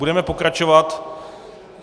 Budeme pokračovat.